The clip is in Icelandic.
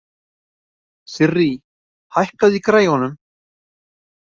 Sirrý, hækkaðu í græjunum.